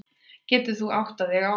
Getur þú áttað þig á þessu?